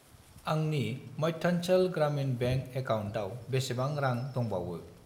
आंनि मध्यानचल ग्रामिन बेंक एकाउन्टाव बेसेबां रां दंबावो?